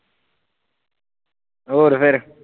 ਹੋਰ ਫਿਰ